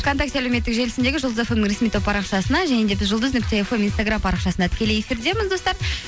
вконтакте әлеуметтік желісіндегі жұлдыз фм нің ресми топ парақшасына және де біз жұлдыз нүкте фм инстаграм парақшасында тікелей эфирдеміз достар